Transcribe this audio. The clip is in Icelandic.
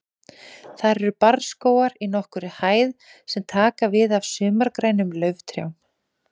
Þar eru barrskógar í nokkurri hæð sem taka við af sumargrænum lauftrjám.